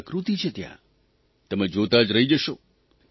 શું પ્રકૃત્તિ છે ત્યાં તમે જોતાં રહી જશો